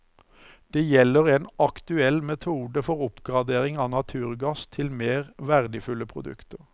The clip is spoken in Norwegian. Det gjelder en aktuell metode for oppgradering av naturgass til mer verdifulle produkter.